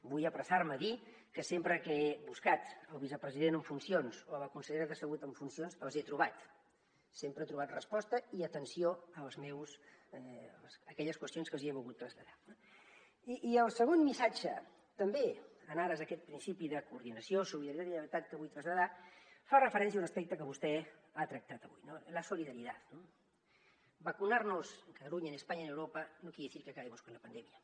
vull apressar me a dir que sempre que he buscat el vicepresident en funcions o la consellera de salut en funcions els he trobat sempre he trobat resposta i atenció a aquelles qüestions que els hi he volgut traslladar no i el segon missatge també en ares d’aquest principi de coordinació solidaritat i lleialtat que vull traslladar fa referència a un aspecte que vostè ha tractat avui no la solidaridad no vacunarnos en cataluña en españa en europa no quiere decir que acabemos con la pandemia